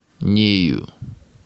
нею